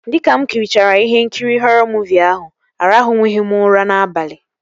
Dịka mụ kirichara ihe nkiri họrọ muuvi ahụ, aranwughị m ụra n'abalị